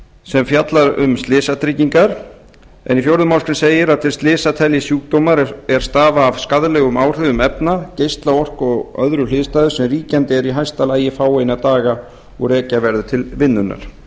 sem fjalla um slysatryggingar en í fjórðu málsgrein segir að til slysa teljist sjúkdómar er stafa af skaðlegum áhrifum efna geislaorku og öðru hliðstæðu sem ríkjandi er í hæsta lagi fáeina daga og rekja verður til vinnunnar